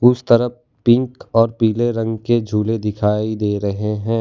उस तरफ पिंक और पीले रंग के झूले दिखाई दे रहे है।